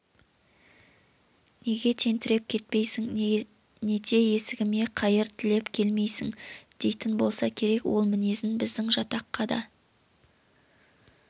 неге тентіреп кетпейсің нете есігіме қайыр тілеп келмейсің дейтін болса керек ол мінезін біздің жатаққа да